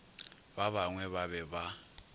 ba bangwe ba be ba